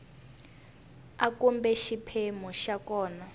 a kumbe xiphemu xa kona